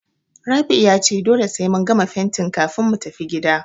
Rabi'u ya ce dole sai mun gama fentin kafin mu tafi gida.